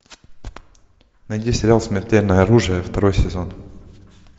найди сериал смертельное оружие второй сезон